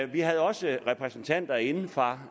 vi havde også repræsentanter inde fra